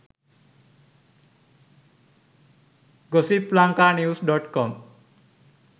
gossiplankanews.com